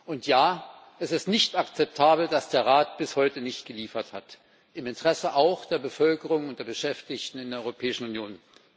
Und ja, es ist nicht akzeptabel, dass der Rat bis heute nicht geliefert hat auch im Interesse der Bevölkerung und der Beschäftigten in der Europäischen Union.